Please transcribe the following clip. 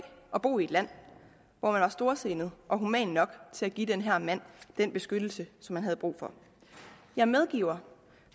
at bo i et land hvor man er storsindet og human nok til at give den her mand den beskyttelse som han havde brug for jeg medgiver